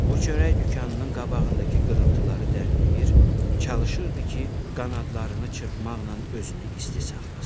O çörək dükanının qabağındakı qırıntıları dənləyir, çalışırdı ki, qanadlarını çırpmaqla özünü isti saxlasın.